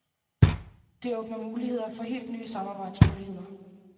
Det åbner muligheder for helt nye samarbejdsmuligheder.